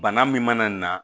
Bana min mana na